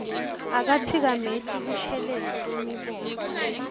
akatsikameti kushelela kwemibono